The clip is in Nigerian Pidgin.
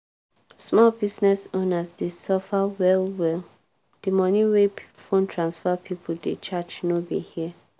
small business owners dey suffer well-well di money wey phone transfer pipo dey charge no be here.